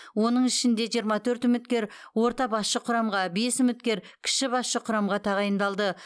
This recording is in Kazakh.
оның ішінде жиырма төрт үміткер орта басшы құрамға бес үміткер кіші басшы құрамға тағайындалды